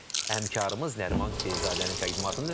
Bizim həmkarımız Nəriman Hüseynzadənin təqdimatında.